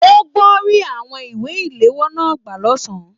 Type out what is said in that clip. O gbọ ri àwọn ìwé iléwọ́ náà gbà l'ọsan.